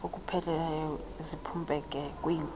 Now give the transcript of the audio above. okupheleleyo ziphumpeke kwiinkozo